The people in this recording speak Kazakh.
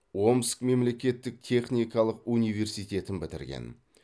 омск мемлекеттік техникалық университетін бітірген